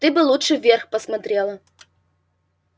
ты бы лучше вверх посмотрела